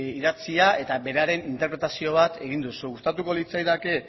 idatzia eta beraren interpretazio bat egin duzu gustatuko litzaidake